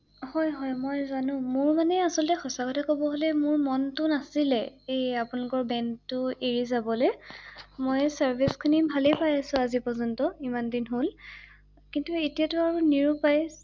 হয় হয় মই জানো মোৰ মানে আচলতে সচাঁ কথা ক’ব গ’লে মোৰ মনটো নাছিলে এই আপোনালোকৰ বেংকটো এৰি যাবলৈ ৷মই চাৰ্ভিচ খিনি ভালে পাই আছো আজি পৰ্য্যন্ত ৷ইমান দিন হ’ল৷কিন্ত এতিয়াতো আৰু নিৰুপায় ৷